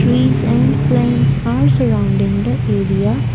trees send plants are surrounding the area.